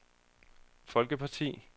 folkeparti